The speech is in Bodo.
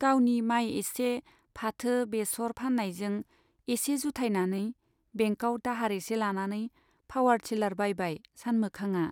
गावनि माइ एसे , फाथो बेसर फान्नायजों एसे जुथायनानै बेंकआव दाहार एसे लानानै पावार थिलार बायबाय सानमोखांआ।